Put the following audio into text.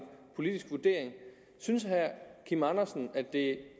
politisk vurdering synes herre kim andersen at det